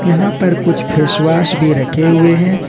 यहां पर कुछ फेस वॉश भी रखे हुए हैं।